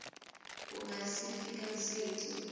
ku nga si fika siku